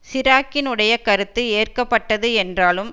சிராக்கினுடைய கருத்து ஏற்க பட்டது என்றாலும்